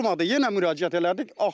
Olmadı, yenə müraciət elədik.